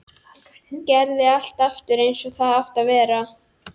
Gerði allt aftur eins og það átti að vera.